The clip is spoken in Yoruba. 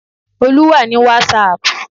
Olú wà ní wàsààpù